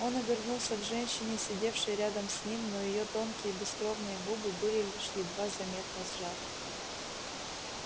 он обернулся к женщине сидевшей рядом с ним но её тонкие бескровные губы были лишь едва заметно сжаты